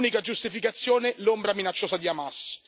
L'unica giustificazione l'ombra minacciosa di Hamas.